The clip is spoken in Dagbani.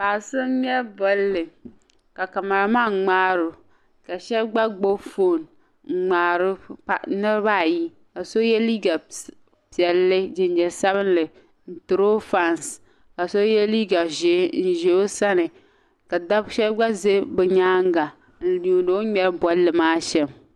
Paɣa so ŋmɛri bolli ka kamaraman ŋmaari o ka shɛba gba gbibi foon n-ŋmaari o niriba ayi ka so ye liiga piɛlli jinjam sabilinli n-tiri o fansi ka so ye liiga ʒee n-ʒi o sani ka dab' shɛba gba za bɛ nyaaŋga n-yuundi o ni ŋmɛri bolli maa shɛm.